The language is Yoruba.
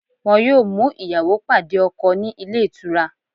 Wọn yóò mú ìyàwó pàdé ọkọ̀ ní ilé-ìtura